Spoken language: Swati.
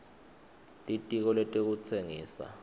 litiko letekutsengisa